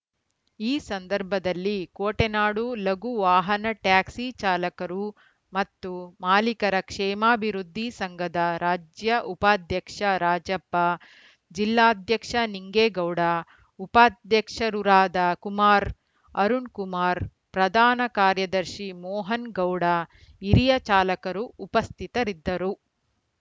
ಈ ಸಂದರ್ಭದಲ್ಲಿ ಕೋಟೆನಾಡು ಲಘು ವಾಹನ ಟ್ಯಾಕ್ಸಿ ಚಾಲಕರು ಮತ್ತು ಮಾಲೀಕರ ಕ್ಷೇಮಾಭಿವೃದ್ಧಿ ಸಂಘದ ರಾಜ್ಯ ಉಪಾಧ್ಯಕ್ಷ ರಾಜಪ್ಪ ಜಿಲ್ಲಾಧ್ಯಕ್ಷ ನಿಂಗೇಗೌಡ ಉಪಾಧ್ಯಕ್ಷರುರಾದ ಕುಮಾರ್‌ ಅರುಣ್‌ಕುಮಾರ್‌ ಪ್ರಧಾನ ಕಾರ್ಯದರ್ಶಿ ಮೋಹನ್‌ಗೌಡ ಹಿರಿಯ ಚಾಲಕರು ಉಪಸ್ಥಿತರಿದ್ದರು